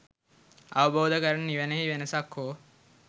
අවබෝධ කරන නිවනෙහි වෙනසක් හෝ